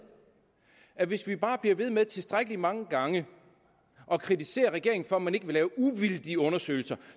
at hvis vi bare bliver ved med tilstrækkelig mange gange at kritisere regeringen for at man ikke vil lave uvildige undersøgelser